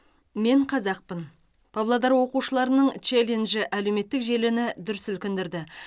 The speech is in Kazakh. мен қазақпын павлодар оқушыларының челленджі әлеуметтік желіні дүр сілкіндірді